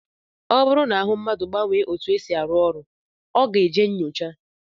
Ọ bụrụ na ahụ mmadụ gbanwee etu ọ si arụ ọrụ, ọ ga-eje nnyocha